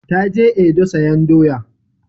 Ta je Edo sayan doya